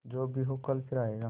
जो भी हो कल फिर आएगा